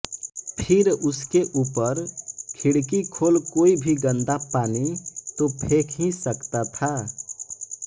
फिर उसके ऊपर खिड़की खोल कोई भी गन्दा पानी तो फेंक ही सकता था